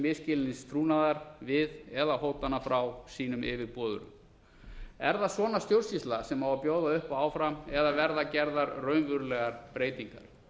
misskilnings trúnaðar við eða hótana frá sínum yfirboðurum er það svona stjórnsýsla sem á að bjóða upp á áfram eða verða gerðar raunverulegar breytingar